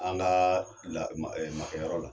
An gaa la ma ɛ makɛyɔrɔ la